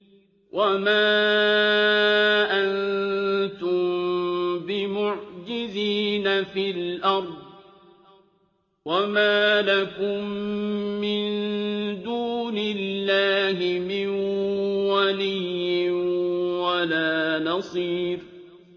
وَمَا أَنتُم بِمُعْجِزِينَ فِي الْأَرْضِ ۖ وَمَا لَكُم مِّن دُونِ اللَّهِ مِن وَلِيٍّ وَلَا نَصِيرٍ